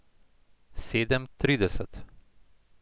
Sedem trideset.